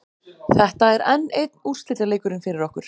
Þetta er enn einn úrslitaleikurinn fyrir okkur.